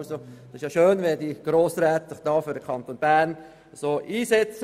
Es ist schön, wenn sich diese Grossräte dermassen für den Kanton Bern einsetzen.